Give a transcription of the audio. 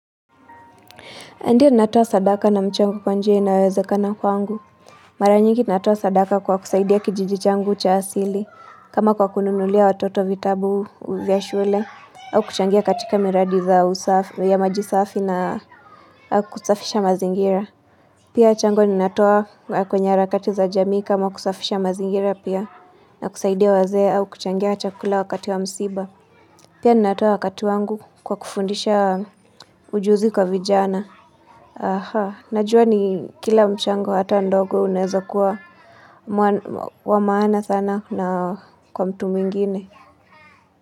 Ndiyo natoa sadaka na mchango kwa njia inayowezekana kwangu. Mara nyingi natoa sadaka kwa kusaidia kijiji changu cha asili. Kama kwa kununulia watoto vitabu vya shule. Au kuchangia katika miradi za usafi ya maji safi na kusafisha mazingira. Pia mchango natoa kwenye harakati za jamii kama kusafisha mazingira pia. Na kusaidia wazee au kuchangia chakula wakati wa msiba. Pia natoa wakati wangu kwa kufundisha ujuzi kwa vijana. Najua ni kila mchango hata ndogo unaeza kuwa wa maana sana na kwa mtu mwingine.